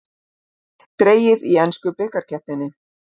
Dregið í ensku bikarkeppninni